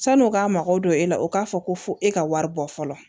San'u k'a magow don e la o k'a fɔ ko fɔ e ka wari bɔ fɔlɔ